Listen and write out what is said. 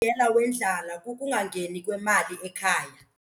ngela wendlala kukungangeni kwemali ekhaya.